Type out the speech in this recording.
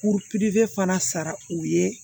Kuru pipiniyɛri fana sara u ye